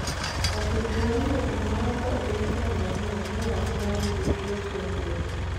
Ofis mar weche ma oko e piny Tanzania ne ok nyal yudore chieng ’ ngeso